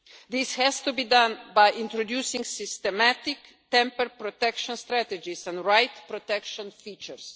readings. This has to be done by introducing systematic tamper protection strategies and right protection